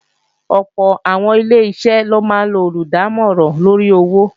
Ọ̀pọ̀ àwọn Ileṣẹ́ ló máa ń lo olùdámọ̀ràn lóri owó